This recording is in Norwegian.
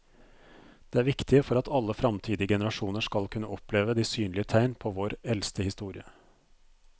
Det er viktig for at alle fremtidige generasjoner skal kunne oppleve de synlige tegn på vår eldste historie.